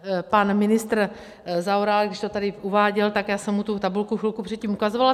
Pan ministr Zaorálek, když to tady uváděl, tak já jsem mu tu tabulku chvilku předtím ukazovala.